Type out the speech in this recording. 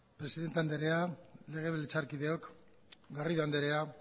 presidente andrea legebiltzarkideok garrido anderea